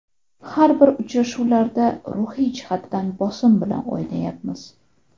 Har bir uchrashuvlarda ruhiy jihatdan bosim bilan o‘ynamayapmiz.